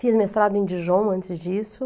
Fiz mestrado em Dijon antes disso.